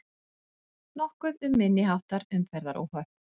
Nokkuð um minniháttar umferðaróhöpp